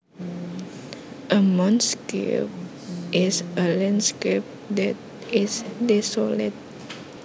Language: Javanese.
A moonscape is a landscape that is desolate